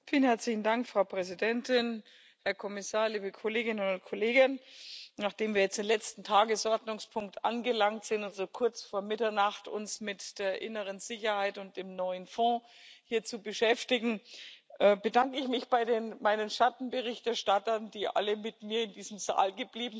Frau Präsidentin, Herr Kommissar, liebe Kolleginnen und Kollegen, nachdem wir jetzt am letzten Tagesordnungspunkt angelangt sind, um uns so kurz vor Mitternacht mit der inneren Sicherheit und dem neuen Fonds zu beschäftigen, bedanke ich mich bei meinen Schattenberichterstattern, die alle samt dem Kommissar mit mir in diesem Saal geblieben sind